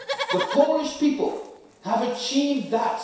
The Polish people have achieved that.